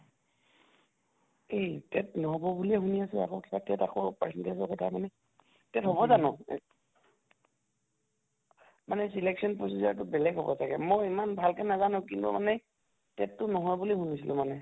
এই TET ন্হʼব বুলিয়ে শুনি আছো আকৌ কিবা TET আকৌ percentage ৰ কথা মানে? TET হʼব জানো? মানে selection procedure টো বেলেগ হʼব চাগে, মই ইমান ভালকে নাজানো । কিন্তু মানে TET টো নহয় বুলি শুনিছিলো মানে